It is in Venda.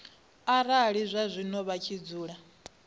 arali zwazwino vha tshi dzula